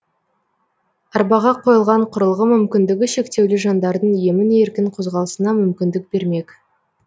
арбаға қойылған құрылғы мүмкіндігі шектеулі жандардың емін еркін қозғалысына мүмкіндік бермек